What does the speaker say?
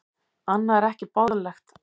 Annað er ekki boðlegt.